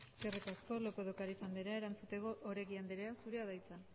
eskerrik asko lópez de ocariz andrea erantzuteko oregi anderea zurea da hitza